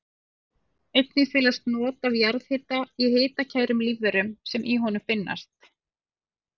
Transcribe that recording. Einnig felast not af jarðhita í hitakærum lífverum sem í honum finnast.